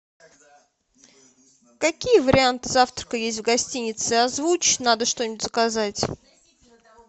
какие варианты завтрака есть в гостинице озвучь надо что нибудь заказать